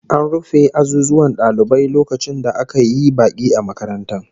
An rufe azuzuwan dalibai lokacin da aka yi baki a makarantar